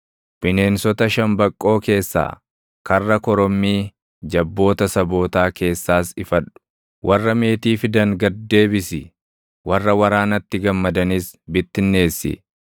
Bineensota shambaqqoo keessaa, karra korommii jabboota sabootaa keessaas ifadhu. Warra meetii fidan gad deebisi. Warra waraanatti gammadanis bittinneessi.